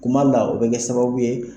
Kuma dɔ la, o be kɛ sababu ye